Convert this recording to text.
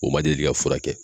O man deli ka fura kɛ.